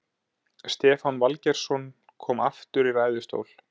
Stefán Valgeirsson kom aftur í ræðustól.